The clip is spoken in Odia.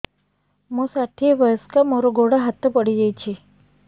ମୁଁ ଷାଠିଏ ବୟସ୍କା ମୋର ଗୋଡ ହାତ ପଡିଯାଇଛି